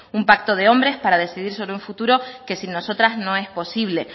un pacto de hombres para decidir sobre un futuro que sin nosotras no es posible